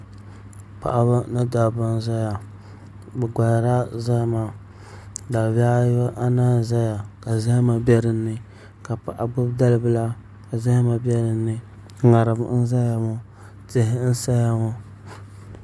Paɣaba ni dabba n ʒɛya bi koharila zahama dalibihi anahi n ʒɛya ka zahama bɛ dinni ka paɣa gbubi dalibila ka zahama bɛ dinni ŋarim n ʒɛya ŋɔ tihi n saya ŋɔ